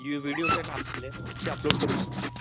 U videos ये न आपले ते अपलोड करू शकतो.